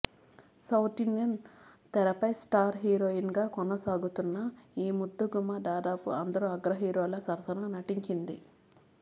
south Indian తెరపై star heroine గా కొనసాగుతున్న ఈ ముద్దుగుమ్మ దాదాపు అందరు అగ్ర హీరోల సరసన నటించింది